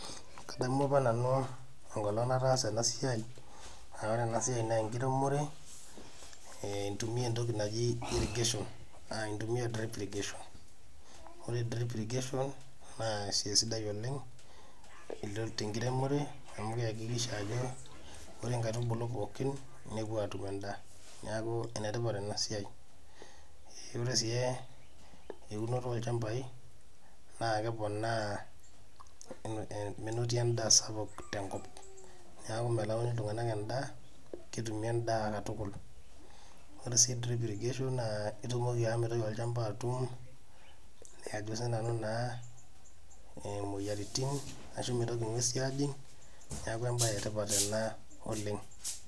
Kadamu apa nanu enkolong nataasa enasiai, ah ore enasiai naa enkiremore, intumia entoki naji irrigation. Intumia drip irrigation. Ore drip irrigation, naa esiai sidai oleng, tenkiremore amu keakikisha ajo ore nkaitubulu pookin nepuo atum endaa. Neeku enetipat enasiai. Ore si eunoto olchambai, naa keponaa menoti endaa sapuk tenkop. Neeku melau iltung'anak endaa, ketumi endaa katukul. Ore si drip irrigation naa itumoki ashomo aitau olchamba atum, ajo sinanu naa imoyiaritin, ashu mitoki ng'uesi ajing, neeku ebae etipat ena oleng.